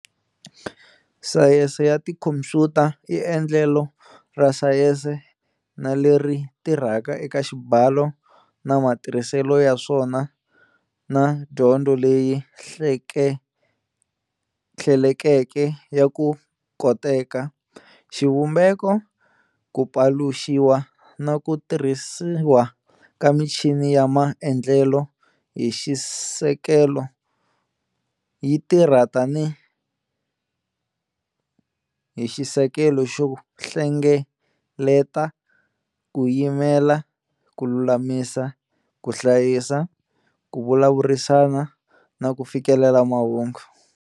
Sayense ya tikhompyuta i endlelo ra sayense na leri tirhaka eka xibalo na matirhiselo ya swona na dyondzo leyi hlelekeke ya ku koteka, xivumbeko, ku paluxiwa na ku tirhisiwa ka michini ya maendlelo hi xisekelo yi tirha tanihi xisekelo xo hlengeleta, ku yimela, ku lulamisa, ku hlayisa, ku vulavurisana na ku fikelela mahungu.